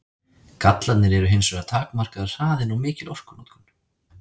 Gallarnir eru hins vegar takmarkaður hraðinn og mikil orkunotkun.